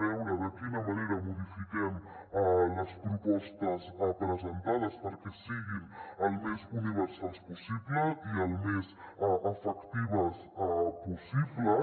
veure de quina manera modifiquem les propostes presentades perquè siguin el més universals possible i el més efectives possible